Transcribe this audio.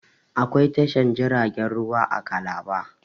Akwai tashar jiragen ruwa a calabar